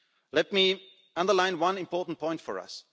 of us. Let me underline one important point